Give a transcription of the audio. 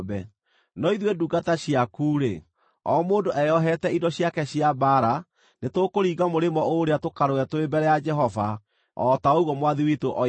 No ithuĩ ndungata ciaku-rĩ, o mũndũ eyohete indo ciake cia mbaara, nĩtũkũringa mũrĩmo ũũrĩa tũkarũe tũrĩ mbere ya Jehova, o ta ũguo mwathi witũ oiga.”